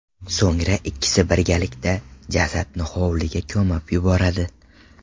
So‘ngra ikkisi birgalikda jasadni hovliga ko‘mib yuboradi.